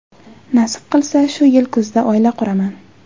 Nasib qilsa, shu yil kuzda oila quraman.